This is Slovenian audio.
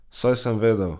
Saj sem vedel.